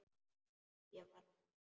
Ég varð hrædd.